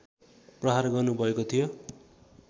प्रहार गर्नुभएको थियो